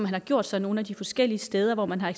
har gjort sig nogle af de forskellige steder hvor man har